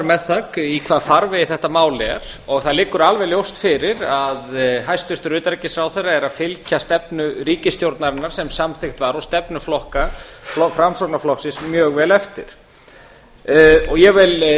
með það í hvaða farvegi þetta mál er og það liggur alveg ljóst fyrir að hæstvirtur utanríkisráðherra er að fylgja stefnu ríkisstjórnarinnar sem samþykkt var og stefnu framsóknarflokksins mjög vel eftir ég vil